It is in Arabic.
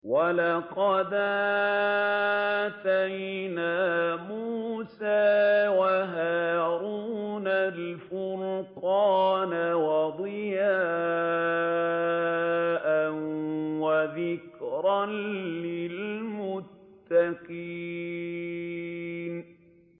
وَلَقَدْ آتَيْنَا مُوسَىٰ وَهَارُونَ الْفُرْقَانَ وَضِيَاءً وَذِكْرًا لِّلْمُتَّقِينَ